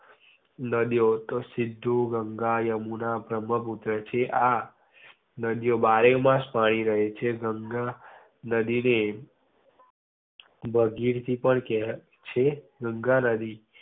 નદી ઓ તો સિંધુ, ગંગા, યમુના, બ્રમ્હપુત્ર, છે. આ નદી ઓ માં બારે માસ પાણી રહે છે. ગંગા નદી ને ભાગીરથી પણ કેવાય છે. ગંગા નદી